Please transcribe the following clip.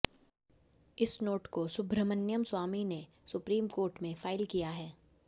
इस नोट को सुब्रह्ण्यम स्वामी ने सुप्रीम कोर्ट में फाइल किया है